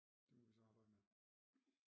Det må vi så arbejde med